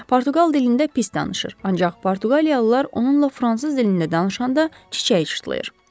Portuqal dilində pis danışır, ancaq portuqaliyalılar onunla fransız dilində danışanda çiçəyi çitlayır.